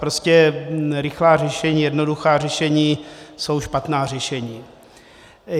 Prostě rychlá řešení, jednoduchá řešení, jsou špatná řešení.